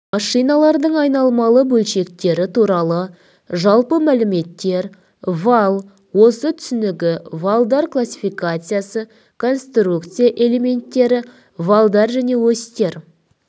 машиналардың айналмалы бөлшектері туралы жалпы мәліметтер вал ось түсінігі валдар классификациясы конструкция элементтері валдар және осьтер